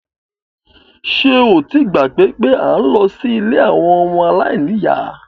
Ṣé o ti gbàgbé pé à ń lọ sí ilé àwọn ọmọ aláìníyá?